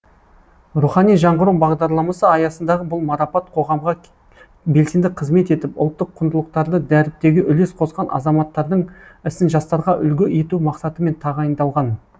рухани жаңғыру бағдарламасы аясындағы бұл марапат қоғамға белсенді қызмет етіп ұлттық құндылықтарды дәріптеуге үлес қосқан азаматтардың ісін жастарға үлгі ету мақсатымен тағайындалған